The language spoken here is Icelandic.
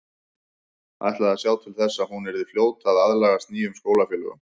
Ætlaði að sjá til þess að hún yrði fljót að aðlagast nýjum skólafélögum.